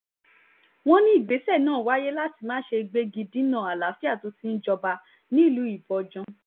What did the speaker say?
wọ́n ní ìgbésẹ̀ náà wáyé láti má ṣe gbégi dínà àlàáfíà tó ti ń jọba nílùú ibojàn